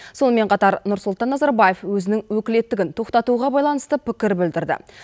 сонымен қатар нұрсұлтан назарбаев өзінің өкілеттігін тоқтатуға байланысты пікір білдірді